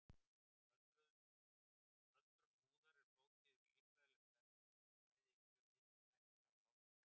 Öldrun húðar er flókið líffræðilegt ferli sem bæði innri og ytri þættir hafa áhrif á.